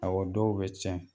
dɔw bɛ cɛn